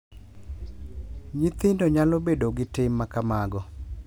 Nyithindgi nyalo bedo gi tim ma kamago.